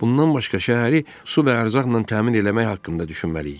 Bundan başqa şəhəri su və ərzaqla təmin eləmək haqqında düşünməliyik."